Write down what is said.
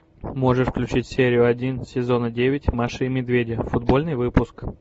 можешь включить серию один сезона девять маши и медведя футбольный выпуск